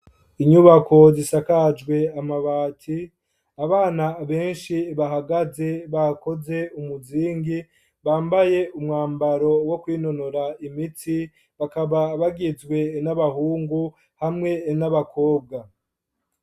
Inyubako zisakajwe amabati abana benshi bahagaze bakoze umuzingi bambaye umwambaro wo kwinonora imitsi bakaba bagizwe n'abahungu hamwe n'abakobwa.